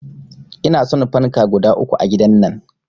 Inason fanka guda uku a gidan nan